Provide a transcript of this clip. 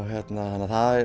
þannig að það